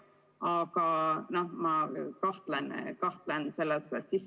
Aga ma kahtlen selles.